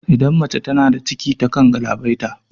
Idan mace tana da ciki ta kan galabaita